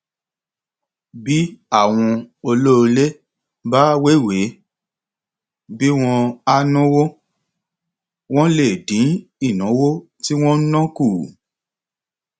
bí àwọn olóolé bá wéwèé bí wọn á náwó wọn lè dín ìnáwó tí wọn ń ná kù